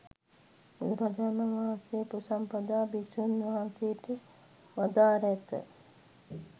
බුදුරජාණන් වහන්සේ උපසම්පදා භික්‍ෂූන් වහන්සේට වදාරා ඇත.